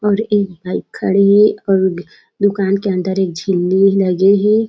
और एक बाइक खड़े हे और दुकान के अंदर एक झिली लगे हे।